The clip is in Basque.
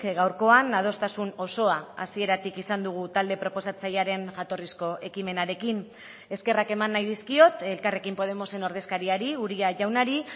gaurkoan adostasun osoa hasieratik izan dugu talde proposatzailearen jatorrizko ekimenarekin eskerrak eman nahi dizkiot elkarrekin podemosen ordezkariari uria jaunari